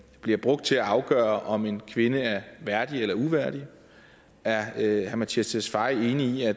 bliver brugt til at afgøre om en kvinde er værdig eller uværdig er herre mattias tesfaye enig i at